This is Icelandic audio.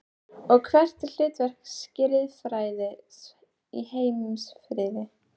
Og hvert er hlutverk skrifræðis í heimsfriði?